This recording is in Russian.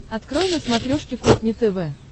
открой на смотрешке кухня тв